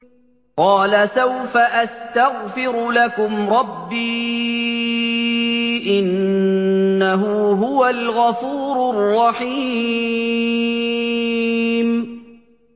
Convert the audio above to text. قَالَ سَوْفَ أَسْتَغْفِرُ لَكُمْ رَبِّي ۖ إِنَّهُ هُوَ الْغَفُورُ الرَّحِيمُ